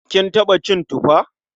Kin taɓa cin tufa?